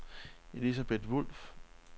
Elisabeth Wolff